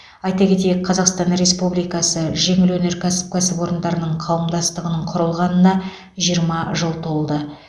айта кетейік қазақстан республикасы жеңіл өнеркәсіп кәсіпорындары қауымдастығының құрылғанына жиырма жыл толды